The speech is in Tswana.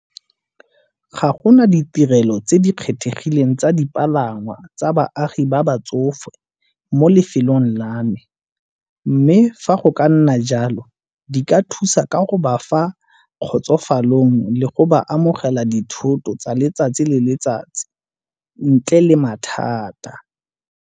Ga go na ditirelo tse di kgethegileng tsa dipalangwa tsa baagi ba batsofe mo lefelong la me, mme fa go ka nna jalo di ka thusa ka go ba fa kgotsofalong le go ba amogela dithoto tsa letsatsi le letsatsi ntle le mathata.